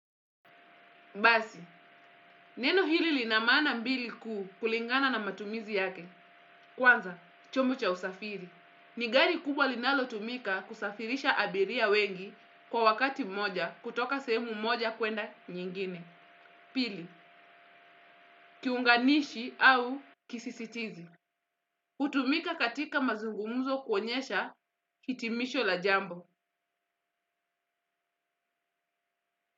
Basi, neno hili lina maana mbili kuu kulingana na matumizi yake. Kwanza, chombo cha usafiri. Ni gari kubwa linalotumika kusafirisha abiria wengi kwa wakati moja kutoka sehemu moja kwenda nyingine. Pili, kiunganishi au kisisitizi. Hutumika katika mazungumzo kuonyesha kitimisho la jambo.